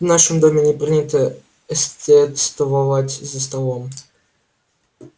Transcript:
в нашем доме не принято эстетствовать за столом